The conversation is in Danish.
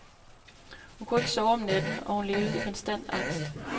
Hun kunne ikke sove om natten, og hun levede i konstant angst.